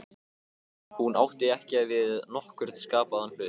Hún átti ekki við nokkurn skapaðan hlut.